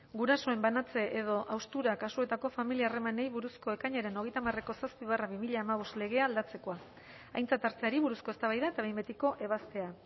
gurasoen banantze edo haustura kasuetako familia harremanei buruzko ekainaren hogeita hamareko zazpi barra bi mila hamabost legea aldatzekoa aintzat hartzeari buruzko eztabaida eta behin betiko ebazpena